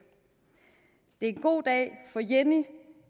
det er en god dag for jenni